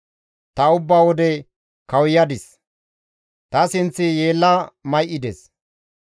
Ta ubba wode kawuyadis; ta sinththi yeella may7ides.